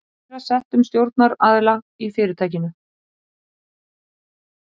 æðra settum stjórnaraðila í fyrirtækinu.